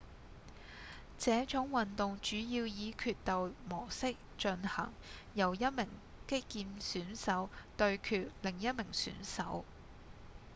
這種運動主要以決鬥模式進行由一名擊劍選手對決另一名選手